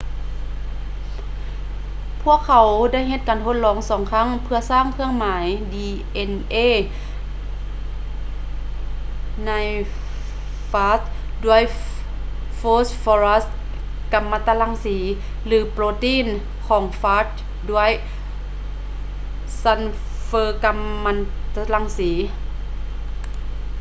ພວກເຂົາໄດ້ເຮັດການທົດລອງສອງຄັ້ງເພຶ່ອສ້າງເຄື່ອງໝາຍ dna ໃນຟາຂດ້ວຍໂຟສຟໍຣັສກໍາມັນຕະລັງສີ ຫຼື ໂປຣຕີນຂອງຟາຈດ້ວຍຊັນເຟີກັມມັນຕະລັງສີ